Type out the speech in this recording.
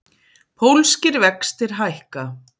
Pólskir vextir hækka